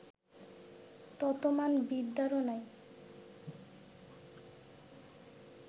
তত মান বিদ্যারও নাই